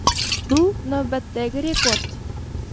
Bu navbatdagi rekord.